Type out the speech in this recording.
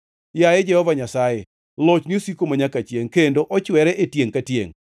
Yaye Jehova Nyasaye, lochni osiko manyaka chiengʼ kendo ochwere e tiengʼ ka tiengʼ.